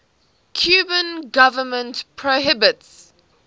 cuban government prohibits